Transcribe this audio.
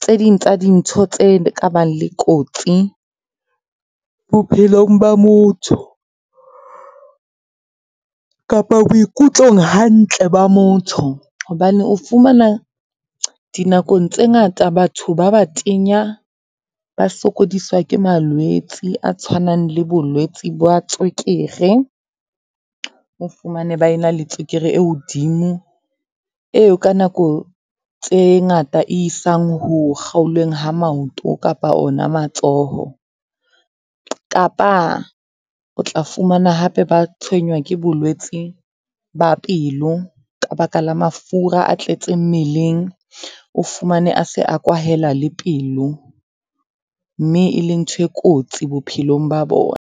tse ding tsa dintho tse ka bang le kotsi bophelong ba motho kapa boikutlong hantle ba motho. Hobane o fumana, dinakong tse ngata batho ba batenya ba sokodiswa ke malwetse a tshwanang le bolwetsi ba tswekere. O fumane ba e na le tswekere e hodimo, eo ka nako tse ngata e isang ho kgaolweng ha maoto kapa ona matsoho. Kapa, o tla fumana hape ba tshenywa ke bolwetsi ba pelo ka baka la mafura a tletseng mmeleng, o fumane a se a kwahela le pelo. Mme e le ntho e kotsi bophelong ba bona.